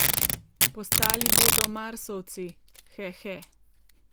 Postali bodo marsovci, he he.